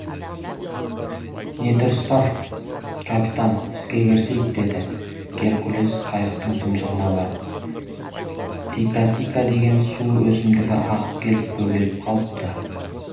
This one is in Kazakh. не тұрыс бар капитан іске кірісейік деді геркулес қайықтың тұмсығына барып тикатика деген су өсімдігі ағып келіп бөгеліп қалыпты